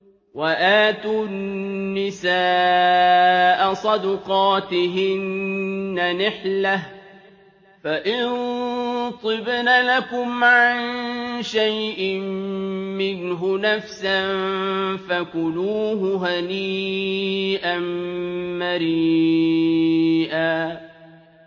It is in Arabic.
وَآتُوا النِّسَاءَ صَدُقَاتِهِنَّ نِحْلَةً ۚ فَإِن طِبْنَ لَكُمْ عَن شَيْءٍ مِّنْهُ نَفْسًا فَكُلُوهُ هَنِيئًا مَّرِيئًا